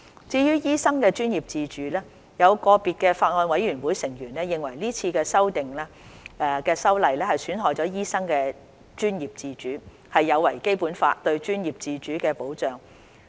至於醫生專業自主，有個別法案委員會成員認為這次修例損害醫生的專業自主，有違《基本法》對專業自主的保障。